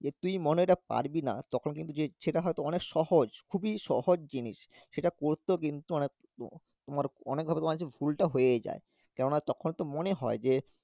যে তুই মনে হয় ওটা পারবিনা তখন কিন্তু যে ইচ্ছেটা হয় তো অনেক সহজ, খুবই সহজ জিনিস সেটা করতেও কিন্তু তোমার অনেকভাবে তোমার হচ্ছে ভুলটা হয়ে যায় কেননা তখন তো মনে হয় যে